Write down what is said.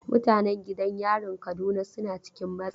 Mutanen gidan yarin Kaduna suna cikin matsi.